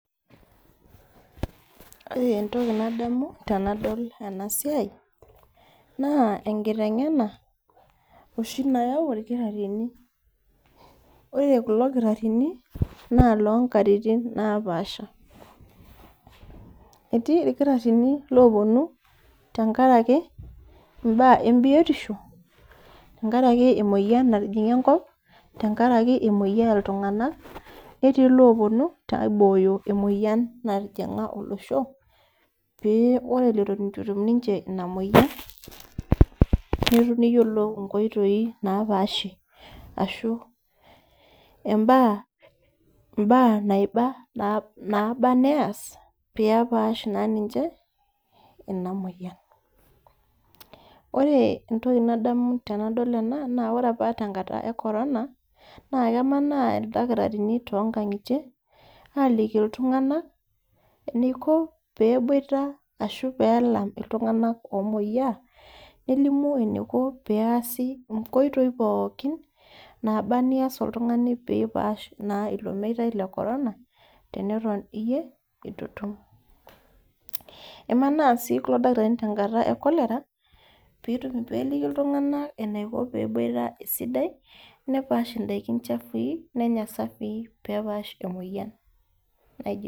Ore entoki nadamu tenadol enasiai, naa enkiteng'ena oshi nayau irkitaarrini. Ore kulo kitarrini, na lonkatitin napaasha. Etii irkitaarrini loponu tenkaraki imbaa embiotisho, tenkaraki emoyian natijing'a enkop, tenkaraki emoyiaa ltung'anak, netii loponu aibooyo emoyian natijing'a olosho, pee ore eton itu etum ninche ina moyian, neyiolou inkoitoi napaashie ashu imbaa naiba naba neas, pepaash naa ninche ina moyian. Ore entoki nadamu tenadol ena, na ore apa tenkata e corona, na kemanaa ildakitarini tonkang'itie, aliki iltung'anak, eniko peboita ashu pelam iltung'anak omoyiaa, nelimu eniko peesi inkoitoi pookin, naba nias oltung'ani pipaash naa ilo meitai le corona, teneton iyie itu itum. Emanaa si kulo dakitarini tenkata e cholera, peliki iltung'anak enaiko peboita esidai, nepaash idaiki chafui, nenya safii pepash emoyian naijo ina.